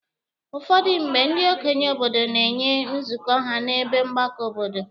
Ụfọdụ mgbe, ndị okenye obodo na-enwe nzukọ ha n'ebe mgbakọ obodo.